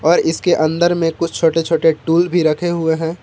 और इसके अंदर में कुछ छोटे छोटे टूल भी रखे हुए है।